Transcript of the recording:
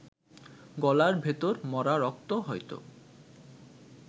গলার ভেতর মরা রক্ত হয়তো